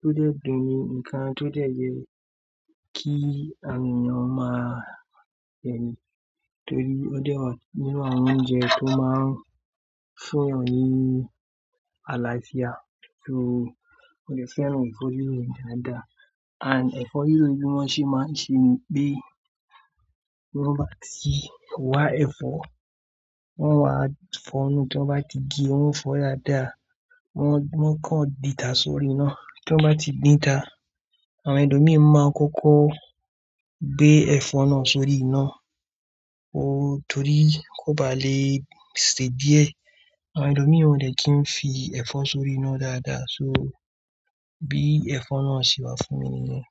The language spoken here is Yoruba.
tó jẹ́ dùnni, nǹkan tó ye kí awon eyan máa jẹni. Torí ó jẹ́ ọ̀ún nínú àwọn oúnjẹ tó máa ń fún yan nì aláfíà. So mo lè fẹ́ràn ẹ̀fọ́ eéró dáadáa. And ẹ̀fọ́ riró ni bí wọ́n ṣe máa ń ṣe bí, bí wọ́n bá ti wá ẹ̀fọ́, wọ́n máa fọ́nùú, tí wọ́n bá ti gé wọ́n fọ́ dáadáa. Wọ́n, wọ́n kan dìntá sórí iná. Tí wọ́n bá ti díntà, àwọn elomi máa kọ́kọ́ gbé ẹ̀fọ́ náà sórí iná. Oh torí kó ba lè sè díẹ̀. Àwọn elomì ò dè kí ń fi ẹ̀fọ́ sórí iná dáadáa. So bí ẹ̀fọ́ náà ṣe wà fún mi nìyẹn.